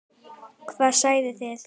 Hvað segið þið?